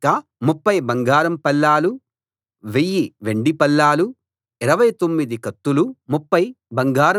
వాటి మొత్తం లెక్క 30 బంగారం పళ్ళాలు 1000 వెండి పళ్ళాలు 29 కత్తులు